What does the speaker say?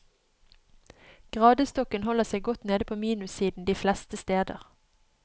Gradestokken holder seg godt nede på minussiden de fleste steder.